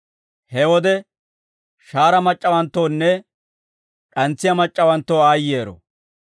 He wode shahaara mac'c'awanttoonne d'antsiyaa mac'c'awanttoo aayyero.